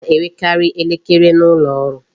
A na-enwekarị elekere n'ụlọ ọrụ